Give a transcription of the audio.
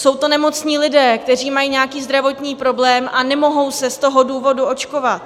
Jsou to nemocní lidé, kteří mají nějaký zdravotní problém a nemohou se z toho důvodu očkovat.